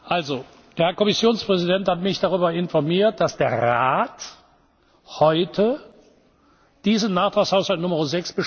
Also Der Herr Kommissionspräsident hat mich darüber informiert, dass der Rat heute diesen Nachtragshaushalt Nr.